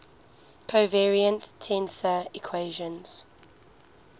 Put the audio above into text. covariant tensor equations